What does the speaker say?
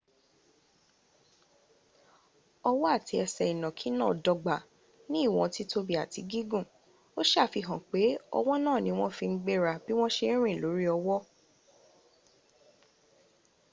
ọwọ́ àti ẹsẹ̀ ìnànkí náà dọ́gba ní íwọ́n tìtòbi áti gígùn o sàfihàn pe ọwọ́ náà ni wón fi n gbéra bí wọ́n se rìn lórí ọwọ́́